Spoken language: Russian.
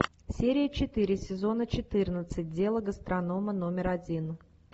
серия четыре сезона четырнадцать дело гастронома номер один